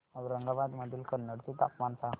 औरंगाबाद मधील कन्नड चे तापमान सांग